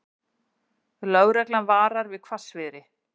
Lögreglan varar við hvassviðri